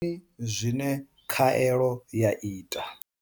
Ndi mini zwine khaelo ya ita?